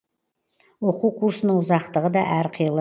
оқу курсының ұзақтығы да әрқилы